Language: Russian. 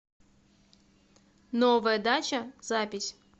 новая дача запись